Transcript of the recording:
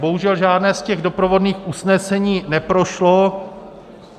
Bohužel žádné z těch doprovodných usnesení neprošlo.